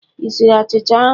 Ị siri achicha ahụ?